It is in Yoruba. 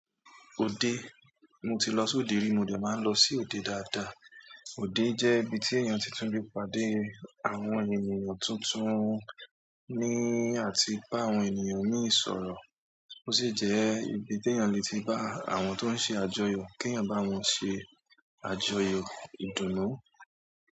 Òde, mo ti lọ sí òde rí mo dẹ̀ máa ń lọ sí òde dáadáa. Òde jẹ́ ibi tí èèyàn ti tún le pàdé àwọn ènìyàn tuntun ní àti bá àwọn ènìyàn míì sọ̀rọ̀. Ó sì jẹ́ ibi tí èèyàn lè ti bá àwọn tó ń ṣe àjọyọ̀ kí èèyàn bá wọn ṣe àjọyọ̀ ìdùnnú.